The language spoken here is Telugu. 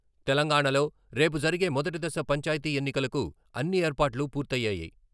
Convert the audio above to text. తెలంగాణలో రేపు జరిగే మొదటి దశ పంచాయతీ ఎన్నికలకు అన్ని ఏర్పాట్లు పూర్తయ్యాయి.